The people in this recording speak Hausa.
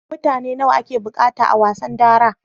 Mutane nawa ake buƙata a wasan dara?